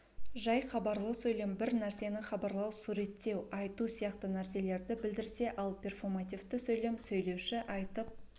жай хабарлы сөйлем бір нәрсені хабарлау суреттеу айту сияқты нәрселерді білдерсе ал перфомативті сөйлем сөйлеуші айтып